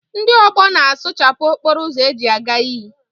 Ndị ọgbọ na a sụchapụ okporo ụzọ eji a ga iyi.